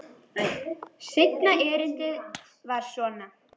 Seinna erindið var svona: